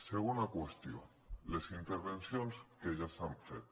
segona qüestió les intervencions que ja s’han fet